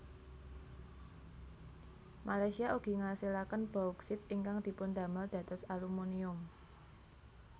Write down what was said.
Malaysia ugi ngasilaken Bauksit ingkang dipundamel dados Alumunium